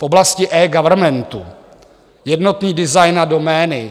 V oblasti eGovernmentu - jednotný design a domény.